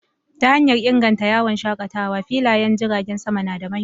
Ta hanyar inganta yawon shakatawa, filayen jiragen sama na da mahimmanci.